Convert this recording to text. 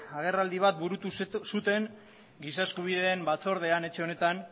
agerraldi bat burutu zuten giza eskubideen batzordean etxe honetan